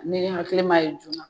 Ne ye hakili m'a ye joona